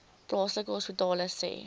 plaaslike hospitale sê